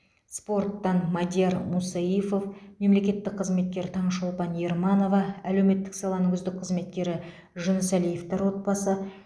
спорттан мадияр мусаифов мемлекеттік қызметкер таңшолпан ерманова әлеуметтік саланың үздік қызметкері жүнісәлиевтер отбасы